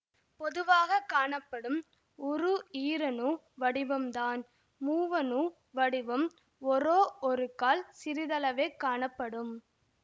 பொதுவாக காணப்படும் உரு ஈரணு வடிவம்தான் மூவணு வடிவம் ஒரோவொருக்கால் சிறிதளவே காணப்படும்